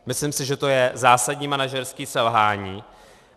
Myslím si, že to je zásadní manažerské selhání.